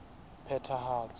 phethahatso